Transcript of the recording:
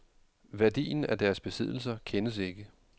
Værdien af deres besiddelser kendes ikke.